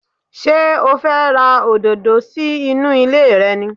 Ṣé o fẹ́ ra òdòdó sí inú ilé rẹ ni?